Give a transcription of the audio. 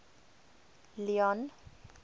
leone